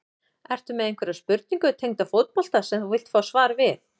Ertu með einhverja spurningu tengda fótbolta sem þú vilt fá svar við?